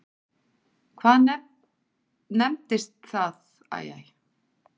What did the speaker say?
Hvað nefndist það á frummálinu?